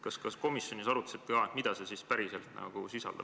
Kas te komisjonis arutasite ka seda, et mida see pakett päriselt sisaldab?